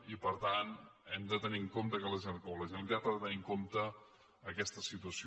i per tant hem de tenir en compte o la generalitat ha de tenir en compte aquesta situació